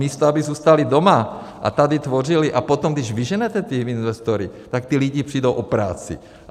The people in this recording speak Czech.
Místo aby zůstali doma a tady tvořili, a potom když vyženete ty investory, tak ti lidé přijdou o práci.